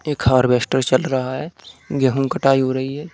एक हार्विस्टर चल रहा है गेहूं कटाई हो रही है।